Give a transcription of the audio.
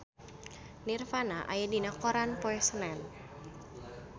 Nirvana aya dina koran poe Senen